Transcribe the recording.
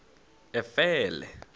efele